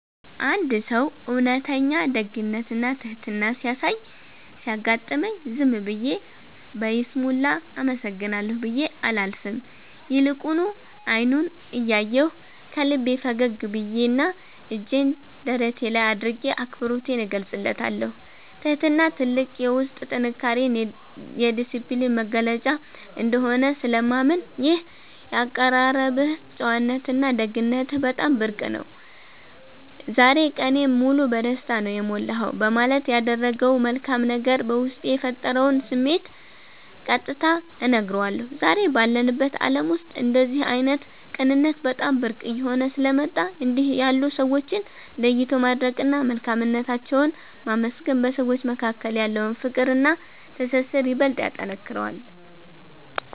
አንድ ሰው እውነተኛ ደግነትና ትሕትና ሲያሳይ ሲያጋጥመኝ፣ ዝም ብዬ በይስሙላ “አመሰግናለሁ” ብዬ አላልፍም፤ ይልቁኑ አይኑን እያየሁ፣ ከልቤ ፈገግ ብዬና እጄን ደረቴ ላይ አድርጌ አክብሮቴን እገልጽለታለሁ። ትሕትና ትልቅ የውስጥ ጥንካሬና የዲስፕሊን መገለጫ እንደሆነ ስለማምን፣ “ይህ የአቀራረብህ ጨዋነትና ደግነትህ በጣም ብርቅ ነው፤ ዛሬ ቀኔን ሙሉ በደስታ ነው የሞላኸው” በማለት ያደረገው መልካም ነገር በውስጤ የፈጠረውን ስሜት ቀጥታ እነግረዋለሁ። ዛሬ ባለንበት ዓለም ውስጥ እንደዚህ ዓይነት ቅንነት በጣም ብርቅ እየሆነ ስለመጣ፣ እንዲህ ያሉ ሰዎችን ለይቶ ማድነቅና መልካምነታቸውን ማመስገን በሰዎች መካከል ያለውን ፍቅርና ትስስር ይበልጥ ያጠነክረዋል።